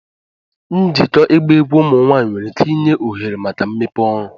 Njikọ ịgba egwu ụmụ nwanyị nwere ike inye ohere maka mmepe ọrụ